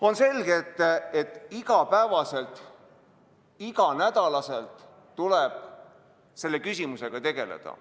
On selge, et iga päev, iga nädal tuleb selle küsimusega tegeleda.